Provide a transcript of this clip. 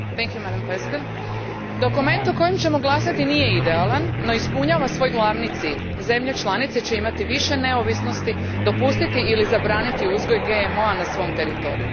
Gospođo predsjednice, dokument o kojem ćemo glasati nije idealan no ispunjava svoj glavni cilj. Zemlje članice će imati više neovisnosti dopustiti ili zabraniti uzgoj GMO a na svom teritoriju.